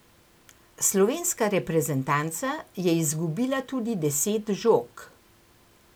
Slovenska reprezentanca je izgubila tudi deset žog.